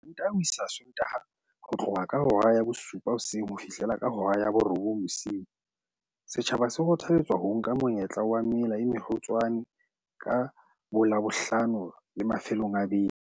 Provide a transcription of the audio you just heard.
Mantaha ho isa Sontaha ho tloha ka hora ya bosupa hoseng ho fihlela ka hora ya borobong bosiu, setjhaba se kgothaletswa ho nka monyetla wa mela e mekgutshwane ka boLabohlano le mafelong a beke.